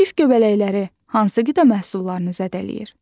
Kif göbələkləri hansı qida məhsullarını zədələyir?